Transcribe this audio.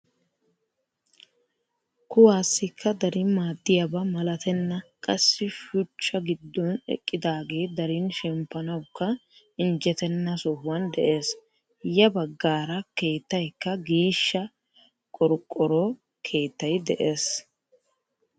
Kuwaasikka darin maaddiyaaba malatenna qassi shuuchcha giddon eqqidaagee darin shemppanawukka injjetenna sohuwaan de'ees. ya baggaara keettaykka qiishsha qorqoro keettay de'ees.